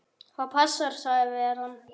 Það passar sagði veran.